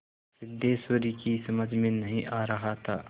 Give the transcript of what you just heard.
सिद्धेश्वरी की समझ में नहीं आ रहा था